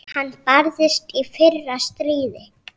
Hann barðist í fyrra stríði.